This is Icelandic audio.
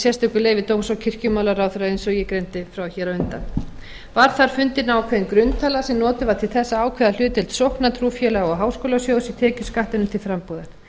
sérstöku leyfi dóms og kirkjumálaráðherra eins og eg greindi frá hér á undan var þar fundin ákveðin grunntala sem notuð var til þess að ákveða hlutdeild sókna trúfélaga og háskólasjóðs í tekjuskattinum til frambúðar